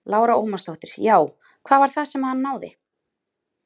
Lára Ómarsdóttir: Já, hvað var það sem að hann náði?